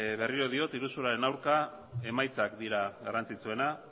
berriro diot iruzurraren aurka emaitzak dira garrantzitsuena